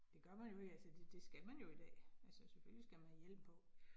Det gør man jo ikke, altså det det skal man jo i dag, altså selvfølgelig skal man have hjelm på